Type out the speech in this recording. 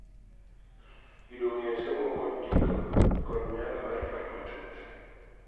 Yudo ng�eyo somo kod ndiko kod nyalo mar paro matut